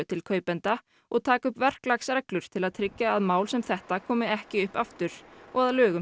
til kaupenda og taka upp verklagsreglur til að tryggja að mál sem þetta komi ekki upp aftur og að lögum